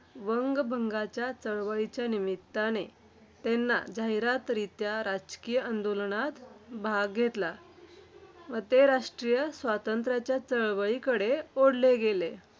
वंगभंगाच्या चळवळीच्या निमित्ताने त्यांना जाहीररित्या राजकीय आंदोलनात भाग घेतला. ते राष्ट्रीय स्वातंत्र्याच्या चळवळीकडे ओढले गेले.